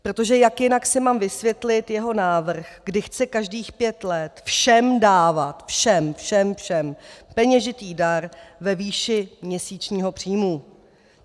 Protože jak jinak si mám vysvětlit jeho návrh, kdy chce každých pět let všem dávat, všem, všem, všem, peněžitý dar ve výši měsíčního příjmu?